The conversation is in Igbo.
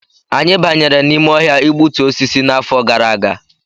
Anyị banyere n'ime ọhịa igbutu osisi n'afọ gara aga